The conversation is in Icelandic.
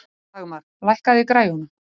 Dagmar, lækkaðu í græjunum.